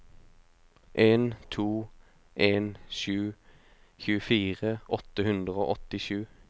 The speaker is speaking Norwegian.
en to en sju tjuefire åtte hundre og åttisju